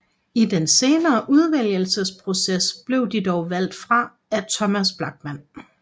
I den senere udvælgelsesproces blev de dog valgt fra af Thomas Blachman